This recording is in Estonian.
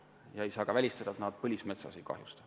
Ja ei saa ka välistada, et nad põlismetsa ei kahjusta.